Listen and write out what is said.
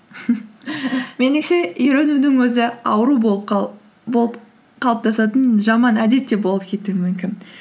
меніңше үйренудің өзі ауру болып қалыптасатын жаман әдет те болып кетуі мүмкін